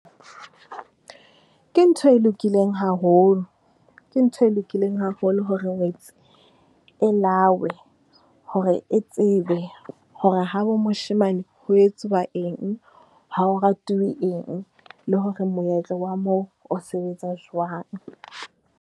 Ke ntho e lokileng haholo, ke ntho e lokileng haholo hore ngwetsi e lawe, hore e tsebe hore habo moshemane ho etsuwa eng, ha ho ratilwe eng, le hore moetlo wa moo o sebetsa jwang?